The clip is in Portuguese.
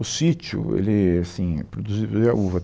O sítio, ele assim produzi zia uva.